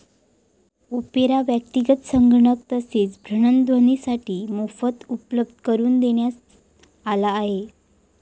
Opera व्यक्तीगत संगणक तसेच भ्रमणध्वनीसाठी मोफत उपलब्ध करून देण्यात आला आहे.